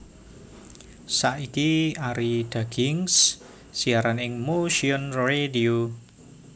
Saiki Arie Dagienkz siaran ing Motion Radio